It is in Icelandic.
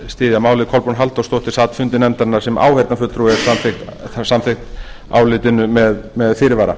styðja málið kolbrún halldórsdóttir sat fundi nefndarinnar sem áheyrnarfulltrúi og er samþykk álitinu með fyrirvara